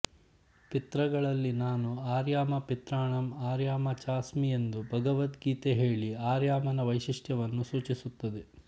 ಪಿತೃಗಳಲ್ಲಿ ನಾನು ಅರ್ಯಮ ಪಿತೃಣಾಂ ಅರ್ಯಮಾ ಚಾಸ್ಮಿ ಎಂದು ಭಗವದ್ಗೀತೆ ಹೇಳಿ ಅರ್ಯಮನ ವೈಶಿಷ್ಟ್ಯವನ್ನು ಸೂಚಿಸುತ್ತದೆ